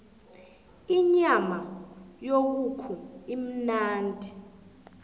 inyama yekukhu imnandi